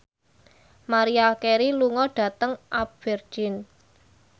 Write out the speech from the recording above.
Maria Carey lunga dhateng Aberdeen